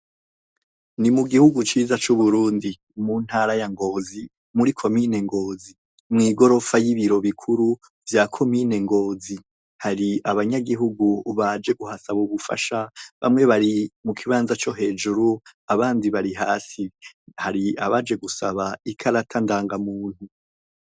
Ni mu gihugu ciza c'Uburundi mu ntara ya Ngozi muri komine Ngozi mw'igorofa y'ibiro bikuru vya komine Ngozi, hari abanyagihugu baje kuhasaba ubufasha bamwe bari mu kibanza co hejuru abandi bari hasi, hari abaje gusaba ikarata ndangamuntu.